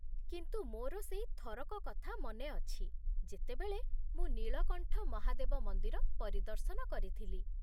କିନ୍ତୁ ମୋର ସେଇ ଥରକ କଥା ମନେ ଅଛି ଯେତେବେଳେ ମୁଁ ନୀଳକଣ୍ଠ ମହାଦେବ ମନ୍ଦିର ପରିଦର୍ଶନ କରିଥିଲି।